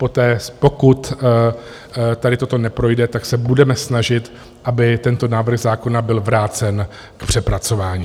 Poté, pokud tady toto neprojde, tak se budeme snažit, aby tento návrh zákona byl vrácen k přepracování.